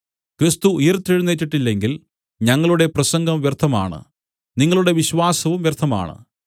ക്രിസ്തു ഉയിർത്തെഴുന്നേറ്റിട്ടില്ലെങ്കിൽ ഞങ്ങളുടെ പ്രസംഗം വ്യർത്ഥമാണ് നിങ്ങളുടെ വിശ്വാസവും വ്യർത്ഥമാണ്